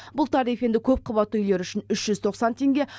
бұл тариф енді көпқабатты үйлер үшін үш жүз тоқсан теңге